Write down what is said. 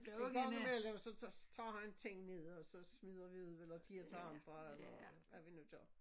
En gang i mellem så tager han ting ned og så smider vi ud eller giver til andre eller hvad vi nu gør